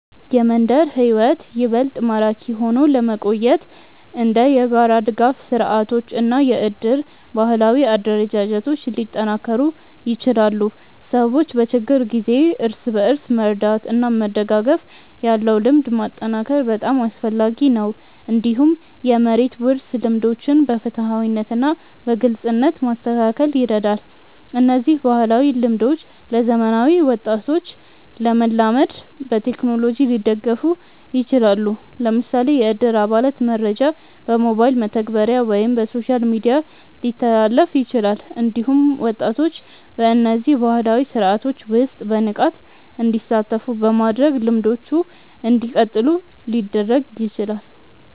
የመንደር ሕይወት ይበልጥ ማራኪ ሆኖ ለመቆየት እንደ የጋራ ድጋፍ ስርዓቶች እና የእድር ባህላዊ አደረጃጀቶች ሊጠናከሩ ይችላሉ። ሰዎች በችግር ጊዜ እርስ በርስ መርዳት እና መደጋገፍ ያለው ልምድ ማጠናከር በጣም አስፈላጊ ነው። እንዲሁም የመሬት ውርስ ልምዶችን በፍትሃዊነት እና በግልጽነት ማስተካከል ይረዳል። እነዚህ ባህላዊ ልምዶች ለዘመናዊ ወጣቶች ለመላመድ በቴክኖሎጂ ሊደገፉ ይችላሉ። ለምሳሌ የእድር አባላት መረጃ በሞባይል መተግበሪያ ወይም በሶሻል ሚዲያ ሊተላለፍ ይችላል። እንዲሁም ወጣቶች በእነዚህ ባህላዊ ስርዓቶች ውስጥ በንቃት እንዲሳተፉ በማድረግ ልምዶቹ እንዲቀጥሉ ሊደረግ ይችላል።